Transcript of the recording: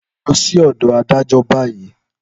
Lọ sí ọ̀dọ̀ adájọ́ báyìí!